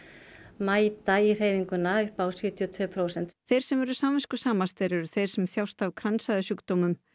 mæta í hreyfinguna upp á sjötíu og tvö prósent þeir sem eru samviskusamastir eru þeir sem þjást af kransæðasjúkdómum